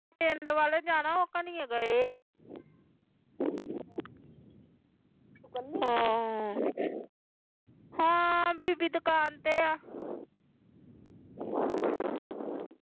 ਪਿੰਡ ਵਾਲੇ ਜਾਣਾ ਓਹ ਖਣੀ ਗਏ ਆ ਹਾਂ ਬੀਬੀ ਦੁਕਾਨ ਤੇ ਆ